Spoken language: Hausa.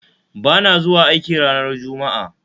Bana zuwa aiki ranar Juma'a